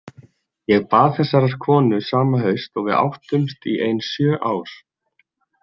Ég bað þessarar konu sama haust og við áttumst í ein sjö ár.